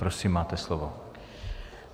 Prosím, máte slovo.